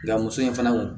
Nga muso in fana